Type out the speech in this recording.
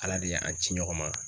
Ala de ye an ci ɲɔgɔn ma